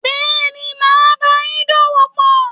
Bẹ́ẹ̀ni, màá báayín dòwòpò